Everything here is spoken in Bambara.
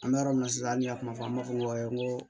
An bɛ yɔrɔ min na sisan an ye a kuma fɔ an b'a fɔ ko